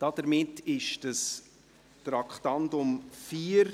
Somit ist das Traktandum 4